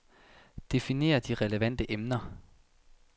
Definer de relevante emner.